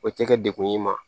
O tɛ kɛ degun y'i ma